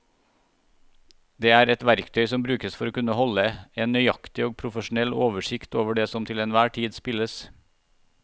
Det er et verktøy som brukes for å kunne holde en nøyaktig og profesjonell oversikt over det som til enhver tid spilles.